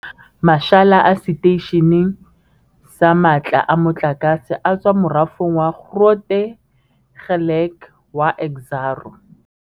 Mashala a seteishene sa matla a motlakase a tswa morafong wa Grootegeluk wa Exxaro.